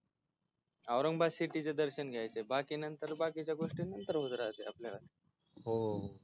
Aurangabad city चे दर्शन घ्यायच बाकी नंतर बाकीच्या गोष्टी नंतर करायच्या आपल्याला हो